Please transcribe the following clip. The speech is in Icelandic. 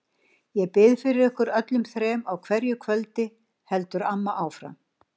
Ég bið fyrir ykkur öllum þrem á hverju kvöldi, heldur amma áfram.